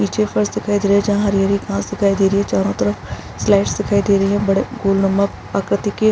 नीचे एक बस दिखाई दे रही है जहाँ हरी-हरी दिखाई दे रही है चारो तरफ स्लाइड्स दिखाई दे रही है बड़े आकृति के--